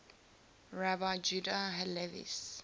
rabbi judah halevi's